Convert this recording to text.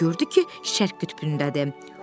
Gördü ki, Şərq qütbündədir.